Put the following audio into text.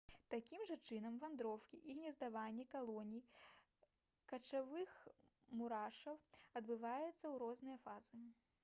такім жа чынам вандроўкі і гнездаванне калоній качавых мурашоў адбываюцца ў розныя фазы